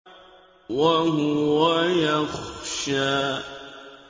وَهُوَ يَخْشَىٰ